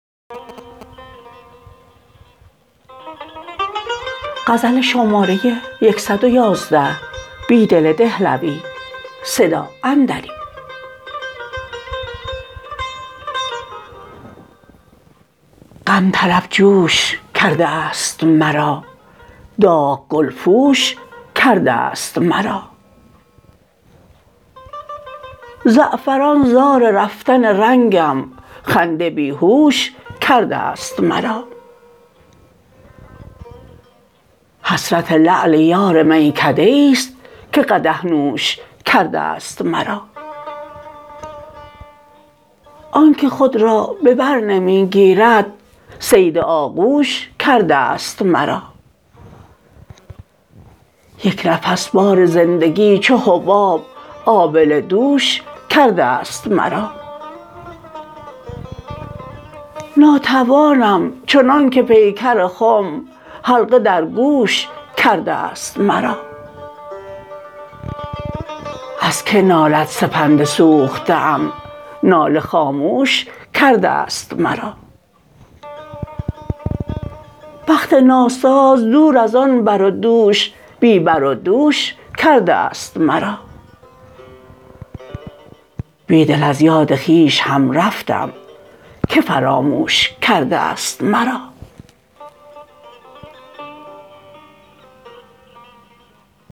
غم طر ب جوش کرده است مرا داغ گل پوش کرده است مرا زعفران زار رفتن رنگم خنده بیهوش کرده است مرا حسرت لعل یار میکده ای ست که قدح نوش کرده است مرا آنکه خود را به برنمی گیرد صید آغوش کرده است مرا یک نفس بار زندگی چوحباب آبله دوش کرده است مرا ناتوانم چنانکه پیکر خم حلقه درگوش کرده است مرا ازکه نالد سپند سوخته م ناله خاموش کرده است مرا بخت ناساز دور از آن بر و دوش بی بر و دوش کرده است مرا بیدل ازیاد خویش هم رفتم که فراموش کرده است مرا